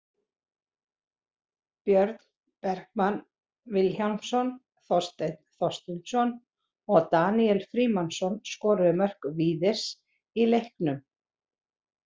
Björn Bergmann Vilhjálmsson, Þorsteinn Þorsteinsson og Daníel Frímannsson skoruðu mörk Víðis í leiknum.